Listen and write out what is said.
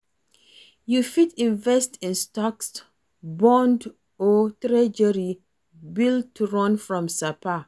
You fit invest in stocks, bond or Treasury Bill to run from sapa